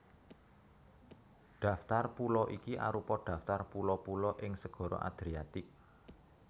Daftar pulo iki arupa daftar pulo pulo ing Segara Adriatik